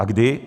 A kdy?